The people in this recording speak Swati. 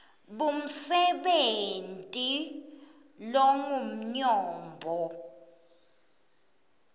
b umsebenti longumnyombo